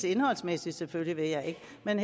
indholdsmæssigt selvfølgelig